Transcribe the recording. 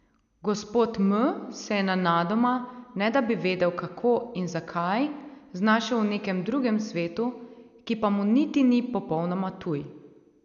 Gospod M se je nenadoma, ne da bi vedel, kako in zakaj, znašel v nekem drugem svetu, ki pa mu niti ni popolnoma tuj.